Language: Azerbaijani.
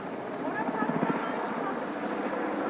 Bura hava axımı var.